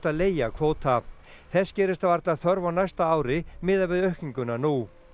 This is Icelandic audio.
að leigja kvóta þess gerist varla þörf á næsta ári miðað við aukninguna nú